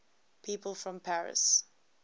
people from paris